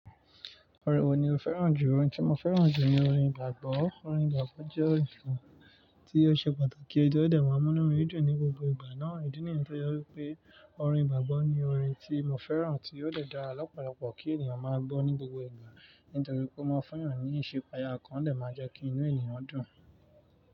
Ọ̀rẹ́ wò ni o fẹ́ràn jù? Òòrin tí mo fẹ́ràn jù ni orin gbàgbọ́. Orin gbàgbọ́ jẹ́ orin kàn tí ó ṣe pàtàkì, ti o dẹ̀ má mú inú ẹni dùn ní gbogbo ìgbà náà. Ìdí nìyẹn tó jẹ́ wípé orin gbàgbọ́ ni orin tí mo fẹ́ràn tí óò dẹ̀ dára lọ́pọ̀lọ́pọ̀ kí ènìyàn má gbọ́ ní gbogbo ìgbà. Nítorí pé ó máa ń fún eyàn ní ìsepaya ọkán, o dẹ̀ máa ń jẹ́ kí inú ènìyàn dùn.